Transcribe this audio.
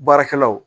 Baarakɛlaw